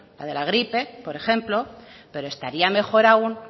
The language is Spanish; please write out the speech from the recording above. la de la gripe por ejemplo pero estaría mejor aún